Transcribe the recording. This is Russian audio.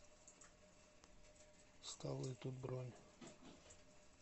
столы тут бронь